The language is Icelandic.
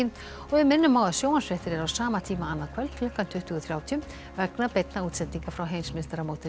við minnum á að sjónvarpsfréttir eru á sama tíma annað kvöld klukkan tuttugu þrjátíu vegna beinna útsendinga frá heimsmeistaramótinu